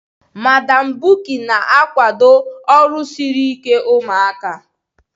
Madam Bukky na-akwado ọrụ siri ike ụmụaka